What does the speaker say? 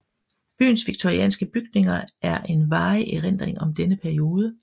Byens victorianske bygninger er en varig erindring om denne periode